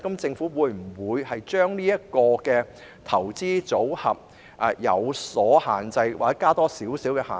政府會否限制投資組合或增設一些限制？